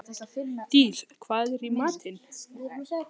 Dís, hvað er í matinn?